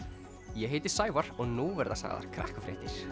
ég heiti Sævar og nú verða sagðar